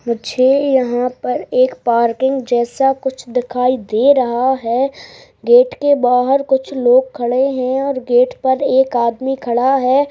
मुझे यहाँ पर एक पार्किंग जैसा कुछ दिखाई दे रहा है गेट के बाहर कुछ लोग खड़े है और गेट पर एक आदमी खड़ा है।